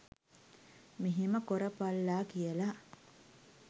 මෙහෙම කොරපල්ලා කියලා